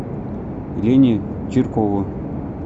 лене чиркову